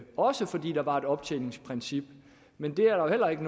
også fordi der var et optjeningsprincip men der er jo heller ikke